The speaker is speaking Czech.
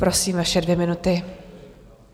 Prosím, vaše dvě minuty.